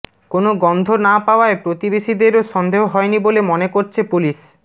কোনও গন্ধ না পাওয়ায় প্রতিবেশীদেরও সন্দেহ হয়নি বলে মনে করছে পুলিশ